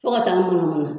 Fo ka taa ŋɔnɔmɔnɔ